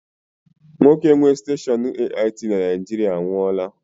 Nwoke nwe steshọọnu AIT na Naijiriia anwụọla